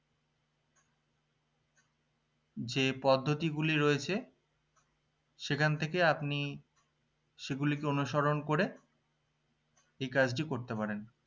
যে পদ্ধতি গুলি রয়েছে সেখান থেকে আপনি সেগুলিকে অনুসরণ করে এই কাজটি করতে পারেন